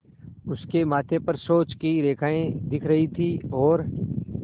उसके माथे पर सोच की रेखाएँ दिख रही थीं और